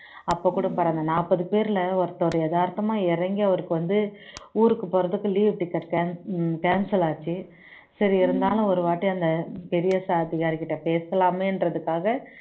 அப்பகூட பாரு அந்த நாற்பது பேர்ல ஒருத்தர் எதார்த்தமா இறங்கி அவருக்கு வந்து ஊருக்கு போறதுக்கு leave ticket cancel ஆச்சு சரி இருந்தாலும் ஒருவாட்டி அந்த பெரிய அதிகாரிகிட்ட பேசலாமேன்றதுக்காக